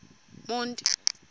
monti